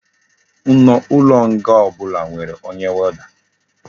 Ulo nga obula nwere onye warder